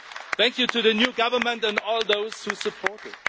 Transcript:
Thank you to the new government and all those who support it.